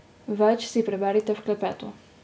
Več si preberite v klepetu.